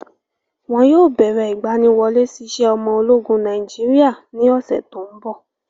Wọn yóò bẹ̀rẹ ìgbaniwọlé sí iṣẹ́ ọmọ ológun Nàìjíríà ní ọ̀ṣẹ̀ tóńbọ̀.